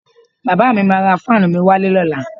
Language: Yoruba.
Bàbá mi máa ra fáànù mi wálé lọ́la